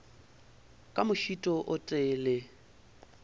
ka mošito o tee le